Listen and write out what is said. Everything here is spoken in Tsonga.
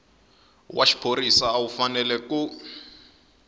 wa xiphorisa u fanele ku